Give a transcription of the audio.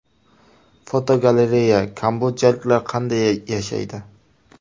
Fotogalereya: Kambodjaliklar qanday yashaydi?.